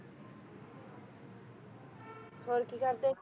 ਹੋਰ ਕੀ ਕਰਦੇ?